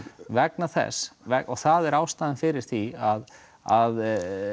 vegna þess og það er ástæðan fyrir því að að